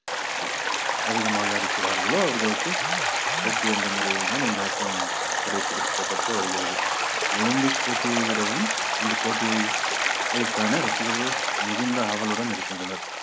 அதிகமாக அடிக்கிறார்களோ அவர்களுக்கு வெற்றி என்ற முறையில்தான் இந்த ஆட்டம் கடைப்பிடிக்கப்பட்டு வருகிறது ஒலிம்பிக் போட்டியை விடவும் இந்த போட்டியை ~யை காண ரசிகர்கள் மிகுந்த ஆவலுடன் இருக்கின்றனர்.